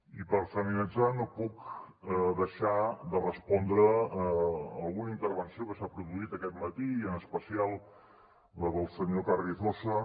i per finalitzar no puc deixar de respondre alguna intervenció que s’ha produït aquest matí i en especial la del senyor carrizosa